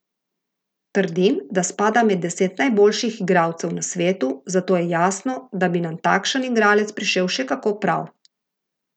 Trdim, da spada med deset najboljših igralcev na svetu, zato je jasno, da bi nam takšen igralec prišel še kako prav.